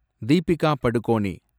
Deepika Padukone